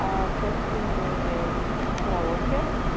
аа в гостиной мм караоке